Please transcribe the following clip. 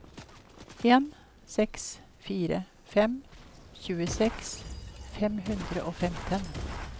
en seks fire fem tjueseks fem hundre og femten